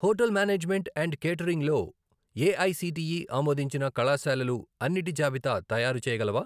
Hotel management and catering లో AICTE ఆమోదించిన కళాశాలలు అన్నిటి జాబితా తయారుచేయగలవా?